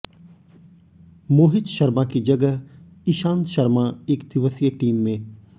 मोहित शर्मा की जगह इशांत शर्मा एकदिवसीय टीम में